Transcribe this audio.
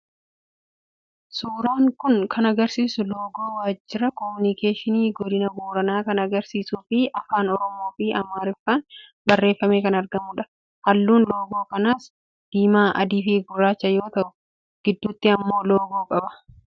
Suuraan kun kan agarsiisu loogoo waajjira komunikeeshinii godina Booranaa kan agarsiisuu fi afaan oromoo fi amaariffaan barreeffamee kan argamudha. Halluun loogoo kanaas diimaa, adii fi gurraacha yoo ta'u, gidduutti immoo loogoo qaba.